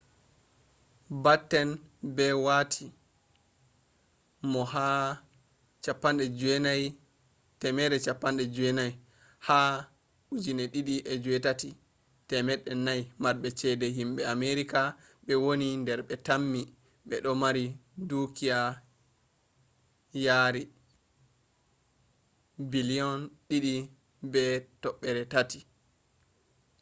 batten be wati mo ha 190th ha 2008 400 marbe chede himbe americans be wani dar be tammi bedo mari dukiya yari $2.3 billiom